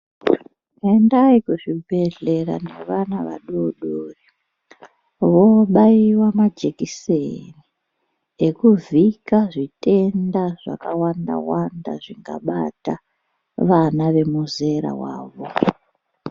Endai kuzvibhedhlera nevana vadodori vobairwa majekiseni ekuvhika zvitenda zvakawanda wanda zvingabata vana vemuzera rawo.